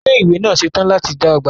Ilé ìwé náà ń ṣètò láti dá ọgbà tẹnísì